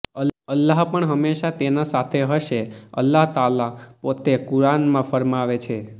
અલ્લાહ પણ હંમેશા તેના સાથે હશે અલ્લાહ તઆલા પોતે કુઆર્નમાં ફરમાવે છે